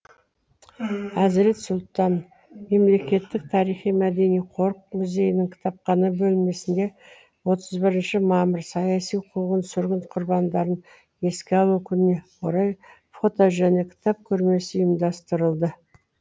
әзірет сұлтан мемлекеттік тарихи мәдени қорық музейінің кітапхана бөлмесінде отыз бірінші мамыр саяси қуғын сүргін құрбандарын еске алу күніне орай фото және кітап көрмесі ұйымдастырылды